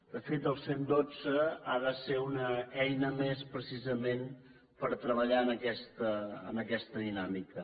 de fet el cent i dotze ha de ser una eina més precisament per treballar en aquesta dinàmica